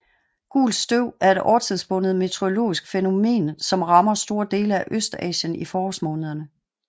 Gult støv er et årstidsbundet meteorologisk fænomen som rammer store dele af Østasien i forårsmånederne